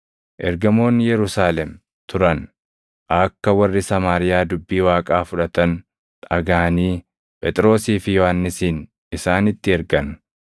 Ergamoonni Yerusaalem turan akka warri Samaariyaa dubbii Waaqaa fudhatan dhagaʼanii Phexrosii fi Yohannisin isaanitti ergan.